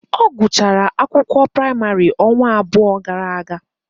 Ọ gụchara akwụkwọ praịmarị ọnwa abụọ gara aga.